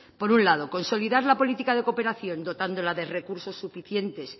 por un lado consolidar la política de cooperación dotándola de recursos suficientes